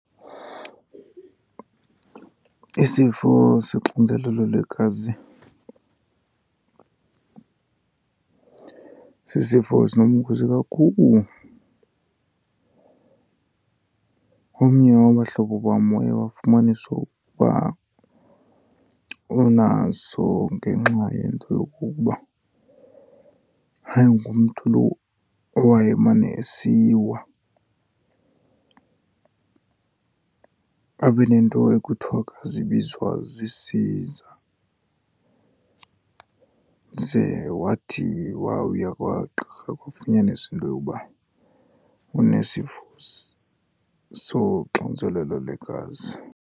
Isifo soxinzelelo lwegazi sisifo esinobungozi kakhulu. Omnye wabahlobo bam waye wafumanisa ukuba unaso ngenxa yento yokokuba wayengumntu lo owayemane esiwa , abe nento ekuthiwa xa zibizwa zii-seizure. Ze wathi wawuya kwagqirha kwafunyaniswa into yokuba unesifo soxinzelelo lwegazi.